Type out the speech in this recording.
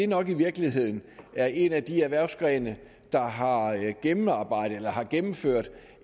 nok i virkeligheden er en af de erhvervsgrene der har gennemført